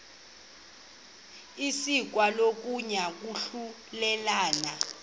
isekwa kokuya kwahlulelana